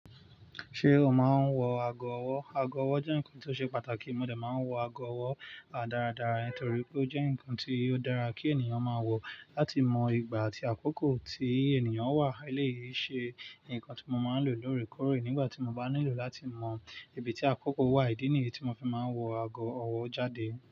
Ṣé o máa ń wọ ago ọwọ́? Ago ọwọ́ jẹ́ nǹkan tó ṣe pàtàkì, mo dà máa ń wọ ago ọwọ́ a dáradára torí pé ó jẹ́ nǹkan tí ó dára kí ènìyàn máa wọ̀ láti mọ ìgbà àti àkókò tí ènìyàn wà. Eléyìí ṣe nǹkan tí mo máa ń lò lórèkórè nígbà tí mo bá nílò láti mọ ibi tí àkókò wà, ìdí nìyí tí mo fi máa ń wọ ago ọwọ́ jáde.